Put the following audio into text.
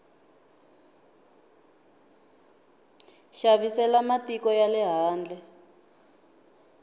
xavisela matiko ya le handle